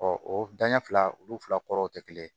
o danɲɛ fila olu fila kɔrɔ tɛ kelen